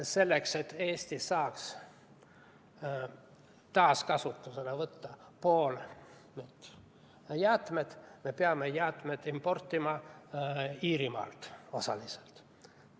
Selleks, et Eesti saaks taaskasutusele võtta teatud jäätmed, me peame osaliselt jäätmeid Iirimalt importima.